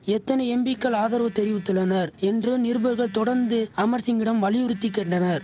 எத்தனை எம்பிக்கள் ஆதரவு தெரிவித்துள்ளனர் என்று நிருபர்கள் தொடந்து அமர் சிங்கிடம் வலியுறுத்தி கேண்டனர்